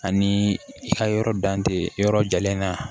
Ani i ka yɔrɔ dan tɛ yɔrɔ jalen na